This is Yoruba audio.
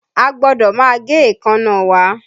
A gbọ́dọ̀ máa gé èékánná wa